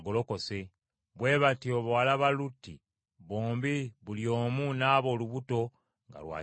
Bwe batyo bawala ba Lutti bombi buli omu n’aba olubuto nga lwa kitaabwe.